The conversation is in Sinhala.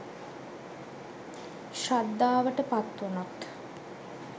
ශ්‍රද්ධාවට පත්වුණොත්